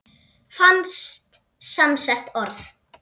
Fast samsett orð